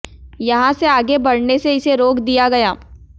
यहां से आगे बढ़ने से इसे रोक दिया गया